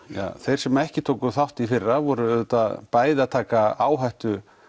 þeir sem ekki tóku þátt í fyrra þeir voru auðvitað bæði að taka áhættu